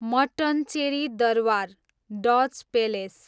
Mattancherry Durbar, Dutch palace